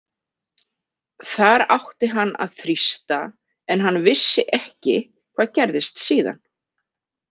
Þar átti hann að þrýsta en hann vissi ekki hvað gerðist síðan.